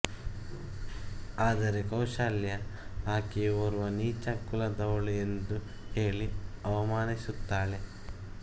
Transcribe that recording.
ಆದರೆ ಕೌಶಲ್ಯ ಆಕೆಯು ಓರ್ವ ನೀಚ ಕುಲದವಳು ಎಂದು ಹೇಳಿ ಅವಮಾನಿಸುತ್ತಾಳೆ